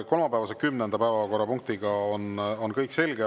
Kolmapäevase kümnenda päevakorrapunktiga on kõik selge.